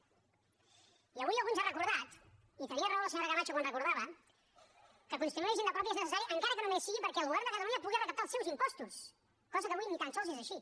i avui algú ens ha recordat i tenia raó la senyora camacho quan ho recordava que construir una hisenda pròpia és necessari encara que només sigui perquè el govern de catalunya pugui recaptar els seus impostos cosa que avui ni tan sols és així